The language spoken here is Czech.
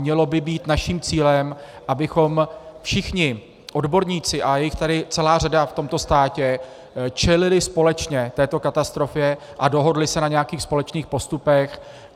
Mělo by být naším cílem, abychom všichni odborníci, a je jich tady celá řada v tomto státě, čelili společně této katastrofě a dohodli se na nějakých společných postupech.